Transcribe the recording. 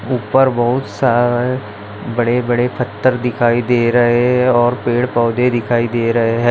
उपर बहुत सारे बड़े-बड़े पत्थर दिखाई दे रहे है और पेड़-पौधे दिखाई दे रहे है।